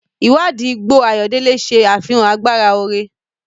Ìwádìí igbó ayọ̀dele ṣe àfihàn agbára oore.